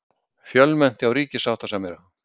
Fjölmennt hjá ríkissáttasemjara